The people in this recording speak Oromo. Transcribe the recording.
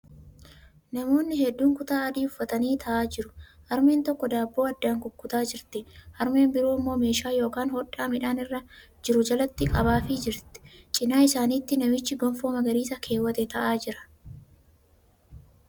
Namoonni hedduun kutaa adii uffatanii taa'aa jiru. Harmeen tokko daabboo addaan kukutaa jirti. Harmeen biroo immoo meeshaa yookan hodhaa midhaan irra jiru jalatti qabaafii jiru. Cinaa isaanitti namichi gonfoo magariisa keewwate taa'aa jira.